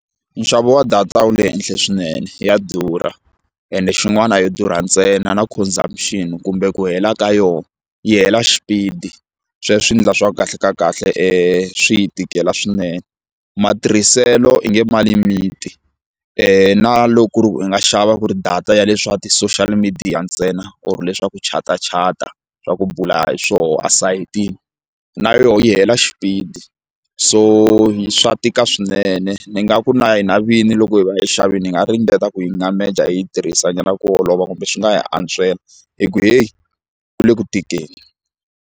Nxavo wa data wu le henhla swinene ya durha ende xin'wana a yo durha ntsena na consumption kumbe ku hela ka yona yi hela xipidi sweswo swi endla swa kahle kahle swi hi tikela swinene matirhiselo i nge ma limiti na loko ku ri ku i nga xava ku ri data ya le swa ti-social media ntsena or leswaku chatachata swa ku bula hi swoho esayitini na yoho yi hela xipidi so swa tika swinene ni nga ku na hina vini loko hi va xavini hi nga ringeta ku yi n'wameja hi yi tirhisa nyana ku olova kumbe swi nga hi antswisela hi ku heyi ku le ku tikeni.